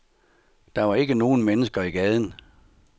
Der var ikke nogen mennesker i gaden.